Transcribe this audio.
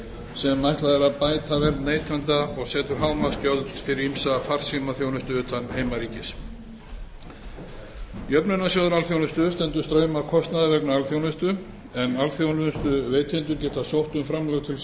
sem ætlað er að bæta vernd neytenda og setur hámarksgjöld fyrir ýmsa farsímaþjónustu utan heimaríkis lækkun jöfnunargjalds í jöfnunarsjóð alþjónustu jöfnunarsjóður alþjónustu stendur straum af kostnaði vegna alþjónustu en alþjónustuveitendur geta sótt um framlög til